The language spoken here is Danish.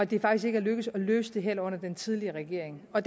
det faktisk ikke er lykkedes at løse det her under den tidligere regering og